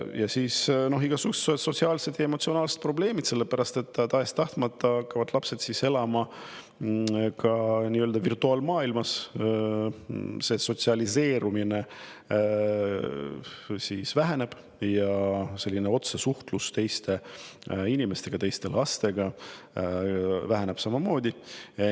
Ja igasugused sotsiaalsed ja emotsionaalsed probleemid, sest tahes-tahtmata hakkavad lapsed elama nii-öelda virtuaalmaailmas, sotsialiseerumine väheneb ja otsesuhtlus teiste inimestega, teiste lastega väheneb samamoodi.